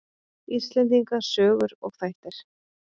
Íslendinga sögur og þættir.